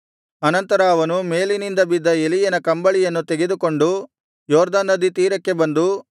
ಅನಂತರ ಅವನು ಮೇಲಿನಿಂದ ಬಿದ್ದ ಎಲೀಯನ ಕಂಬಳಿಯನ್ನು ತೆಗೆದುಕೊಂಡು ಯೊರ್ದನ್ ನದಿ ತೀರಕ್ಕೆ ಬಂದು